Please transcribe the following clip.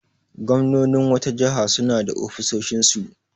Gwamnonin wata jiha suna da ofisoshinsu.